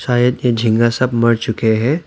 झींगा सब मर चुके हैं।